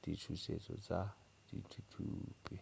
ditšhošetši tša dithuthupi